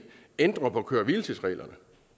ændrer på køre hvile tids reglerne